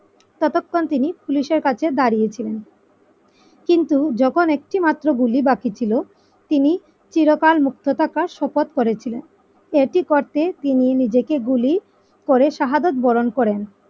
ততক্ষণ তিনি পুলিশের কাছে দাঁড়িয়ে ছিলেন কিন্তু যখন একটি মাত্র গুলি বাকি ছিল তিনি চিরকাল মুক্ত থাকার শপথ করেছিলেন এটি করতে তিনি নিজেকে গুলি করে সহাদক বরণ করেন।